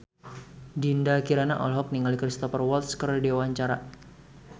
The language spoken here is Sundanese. Dinda Kirana olohok ningali Cristhoper Waltz keur diwawancara